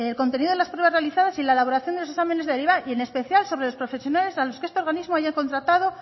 contenido de las pruebas realizadas y la elaboración de los exámenes derivan y en especial sobre los profesionales a los que este organismo haya contratado